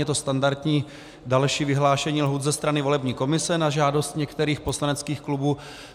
Je to standardní další vyhlášení lhůt ze strany volební komise na žádost některých poslaneckých klubů.